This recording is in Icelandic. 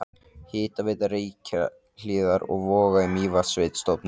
Hitaveita Reykjahlíðar og Voga í Mývatnssveit stofnuð.